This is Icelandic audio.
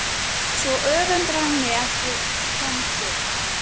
Svo öfundar hann mig af því að komast burt.